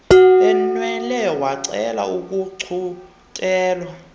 benwele wacela ukuthunyelwa